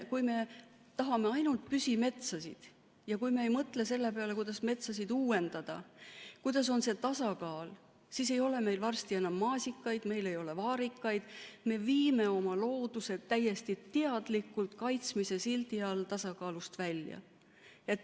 Kui me tahame ainult püsimetsasid ja kui me ei mõtle selle peale, kuidas metsasid uuendada, milline on see tasakaal, siis ei ole meil varsti enam maasikaid, meil ei ole vaarikaid, me viime oma looduse täiesti teadlikult kaitsmise sildi all tasakaalust välja.